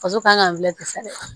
Faso kan ka